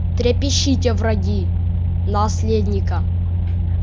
трепещите враги наследника